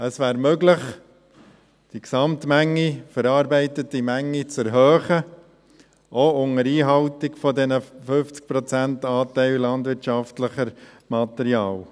Es wäre möglich, die Gesamtmenge an verarbeiteter Menge zu erhöhen, auch unter Einhaltung des 50-Prozent-Anteils landwirtschaftlichen Materials.